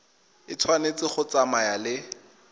e tshwanetse go tsamaya le